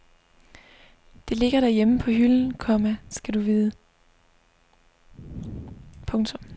Det ligger derhjemme på hylden, komma skal du vide. punktum